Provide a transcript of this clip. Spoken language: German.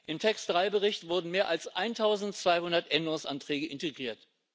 Im TAX3 Bericht wurden mehr als 1200 Änderungsanträge integriert.